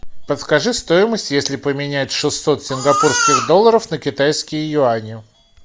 подскажи стоимость если поменять шестьсот сингапурских долларов на китайские юани